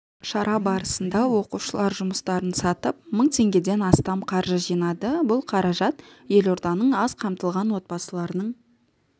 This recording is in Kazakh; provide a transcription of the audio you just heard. шара барысында оқушылар жұмыстарын сатып мың теңгеден астам қаржы жинады бұл қаражат елорданың аз қамтылған отбасыларының